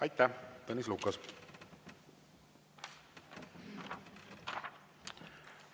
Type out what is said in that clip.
Aitäh, Tõnis Lukas!